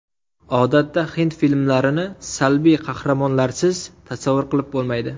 Odatda hind filmlarini salbiy qahramonlarsiz tasavvur qilib bo‘lmaydi.